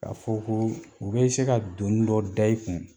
K'a fɔ ko u bɛ se ka doni dɔ da i kun.